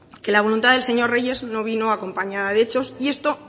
que la voluntad del señor reyes no vino acompañada de hechos y esto